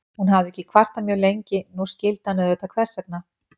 Hún hafði ekkert kvartað mjög lengi, nú skildi hann auðvitað hvers vegna.